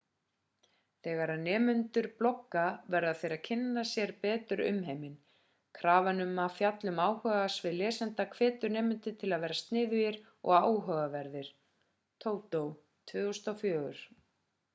þegar nemendur blogga verða þeir að kynna sér betur umheiminn. krafan um að fjalla um áhugasvið lesenda hvetur nemendur til að vera sniðugir og áhugaverðir toto 2004